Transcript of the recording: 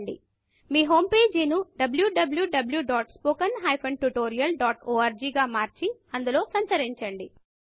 మీ home page ను wwwspoken tutorialorg గా మార్చి అందులో సంచరించండి